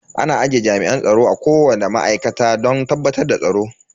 Ana aje jami'an tsaro a kowani ma'aikata don tabbatar da tsaro.